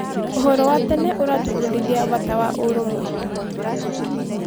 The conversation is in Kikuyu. Ũhoro wa tene ũratũbundithia bata wa ũrũmwe.